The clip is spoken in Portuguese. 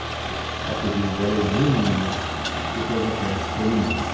O apelido dela é Nininha, e todos a conhecem por Nininha.